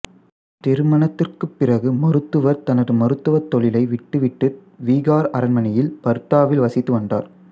திருமணத்திற்குப் பிறகு மருத்துவர் தனது மருத்துவத் தொழிலை விட்டுவிட்டு விகார் அரண்மனையில் பர்தாவில் வசித்து வந்தார்